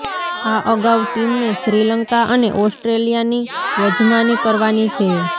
આ અગાઉ ટીમને શ્રીલંકા અને ઓસ્ટ્રેલિયાની યજમાની કરવાની છે